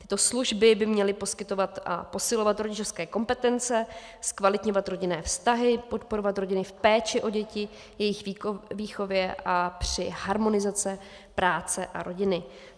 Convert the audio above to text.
Tyto služby by měly poskytovat a posilovat rodičovské kompetence, zkvalitňovat rodinné vztahy, podporovat rodiny v péči o děti, jejich výchově a při harmonizaci práce a rodiny.